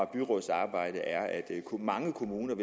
byrådsarbejde er at mange kommuner